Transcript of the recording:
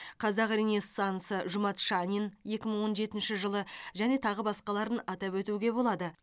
қазақ ренессансы жұмат шанин екі мың он жетінші жылы және тағы басқаларын атап өтуге болады